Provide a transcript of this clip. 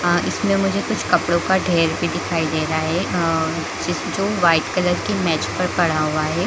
अ इसमें मुझे कुछ कपड़ो का ढेर दिखाई दे रहा है आ जिस जो वाइट कलर के मैच पे पड़ा हुआ है।